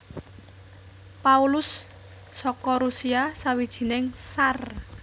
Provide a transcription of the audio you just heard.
Paulus saka Rusia sawijining Tsar